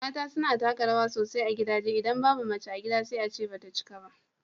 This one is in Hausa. mata suna taka rawa sosai a gidaje, idan babu mace a gida sai a ce ba ta cika ba.